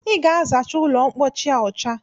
I ga-azacha ụlọmpochi a ọcha